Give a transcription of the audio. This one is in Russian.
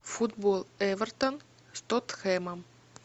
футбол эвертон с тоттенхэмом